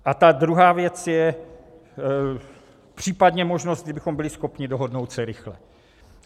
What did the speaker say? A ta druhá věc je případně možnost, kdybychom byli schopni dohodnout se rychle.